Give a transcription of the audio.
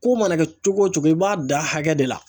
Ko mana kɛ cogo o cogo i b'a dan hakɛ de la.